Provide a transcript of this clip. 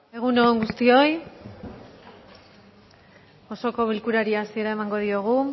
egun on guztioi osoko bilkurari hasiera emango diogu